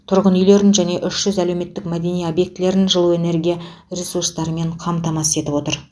тұрғын үйлерін және үш жүз әлеуметтік мәдени объектілерін жылу энергия ресурстарымен қамтамасыз етіп отыр